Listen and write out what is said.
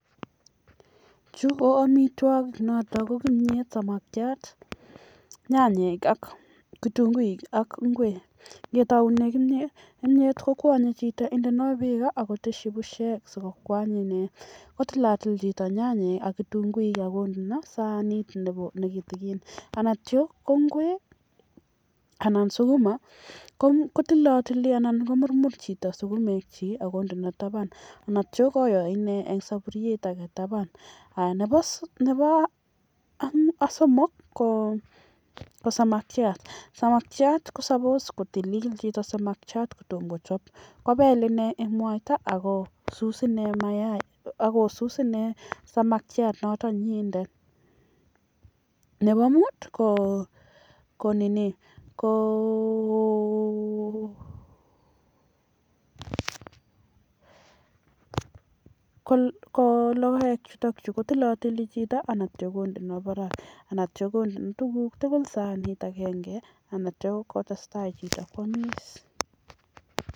Chu koamitwogik not ko: kimyet, samakiat, nyanyik ak ketunguik ak ngwek. Ngetaune kimyet ii, kimyet kokwonye chito. Indo maa beek ak kotesyi bushek sikokwany inee, kotilatil chito nyanyik ak ketunguik ak konde saanit negitikin. Ak netyo ko ngwek anan sukuma kotilotili anan komurmur chito sukumekchik ak konde taban ak ityo koyo inee en soburiet age en taban. Nebo somok ko samkiat, samakiat ko sobos kotilil chito samakiat kotomo kochob. Kobel inee en mwaita ak kosuus ine samkiat noton nyinden. Nebo muut ko ko logoek chuto chu kotilotili chito ak kityo konde barak ak kityo konde tuguk tugul sanit agenge ak kityo kotesta chito koamis.